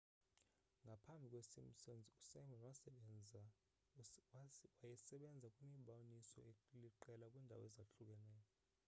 ngaphambi kwesimpsons usimon wayesebenze kwimiboniso eliqela kwiindawo ezahlukeneyo